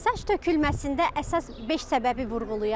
Saç tökülməsində əsas beş səbəbi vurğulayım.